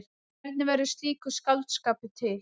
Hvernig verður slíkur skáldskapur til?